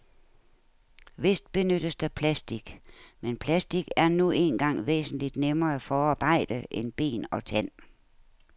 Vist benyttes der plastic, men plastic er nu engang væsentligt nemmere at forarbejde end ben og tand.